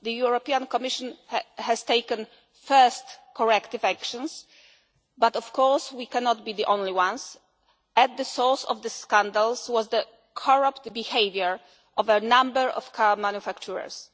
final point. The Commission has taken first corrective actions but of course we cannot be the only ones. At the source of the scandals was the corrupt behaviour of a number of car